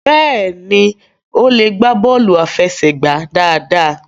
béèni o le gba bọọlu afẹsẹgba dáadáa.